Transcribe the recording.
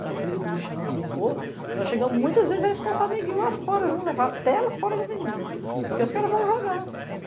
da briga do lixão que limpou, nós chegamos muitas vezes a escoltar neguinho lá fora, vamos levar até lá fora da avenida, porque os caras vão jogar.